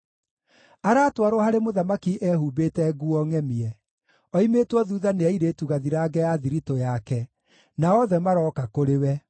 Aratwarwo harĩ mũthamaki ehumbĩte nguo ngʼemie; oimĩtwo thuutha nĩ airĩtu gathirange a thiritũ yake, na othe marooka kũrĩ we.